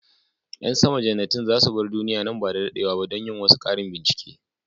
Yan sama jannatin za su bar duniya nan ba da dadewa ba don yin wasu karin bincike.